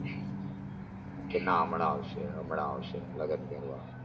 કે ના હમણાં આવશે હમણાં આવશે લગન કરવા